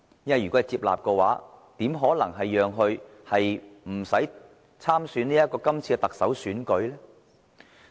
如果被接納的話，怎可能不讓他參加今屆的特首選舉呢？